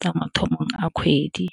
tsa mathomo a kgwedi.